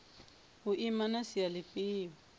u ima na sia lifhio